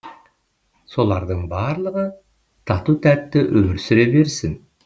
солардың барлығы тату тәтті өмір сүре берсін